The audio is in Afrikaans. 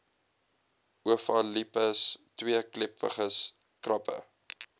ovalipes tweekleppiges krappe